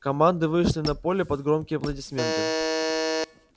команды вышли на поле под громкие аплодисменты